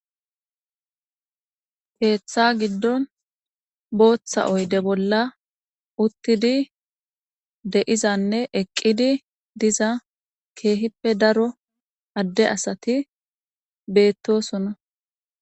Keeththa giddon booththa oyde bolla uttidi deizanne eqqidi diza keehippe daro adde asati beettosona.